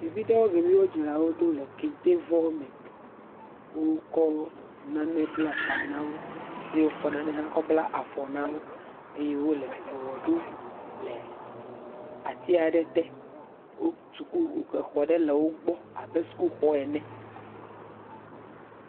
Ɖevi ɖewo kplɔ wo dzilawo ɖo le kentevɔ me, wokɔ nane bla ta na wo eye wokɔ nane bla afɔ na wo le ati aɖe te, wotu exɔ aɖe le wo gbɔ abe sukuxɔ ene.